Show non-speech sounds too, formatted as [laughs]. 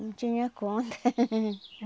Não tinha conta. [laughs]